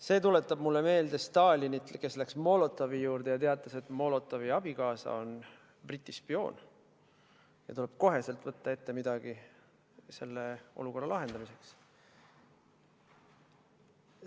See tuletab mulle meelde Stalinit, kes läks Molotovi juurde ja teatas, et Molotovi abikaasa on Briti spioon ja tuleb kohe võtta midagi ette selle olukorra lahendamiseks.